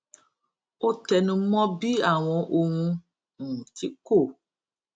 ó tẹnu mó bí àwọn ohun um tí kò